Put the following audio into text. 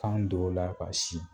Kan don o la ka si